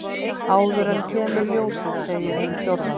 Áður en kemur ljósið segir hin fjórða.